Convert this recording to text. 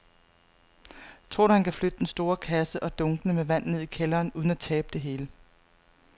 Tror du, at han kan flytte den store kasse og dunkene med vand ned i kælderen uden at tabe det hele?